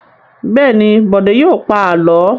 Bẹ́ẹ̀ ni, Bọ̀dé yóò pa àlọ́.